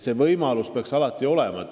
See võimalus peaks neil alati olema.